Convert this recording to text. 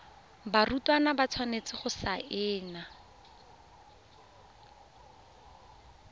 barutwana ba tshwanetse go saena